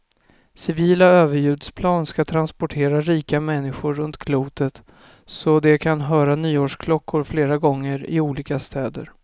Civila överljudsplan ska transportera rika människor runt klotet så de kan höra nyårsklockor flera gånger, i olika städer.